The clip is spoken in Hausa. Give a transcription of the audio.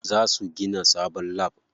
Za su gina sabon lab.